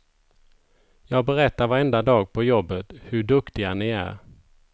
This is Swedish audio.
Jag berättar varenda dag på jobbet hur duktiga ni är.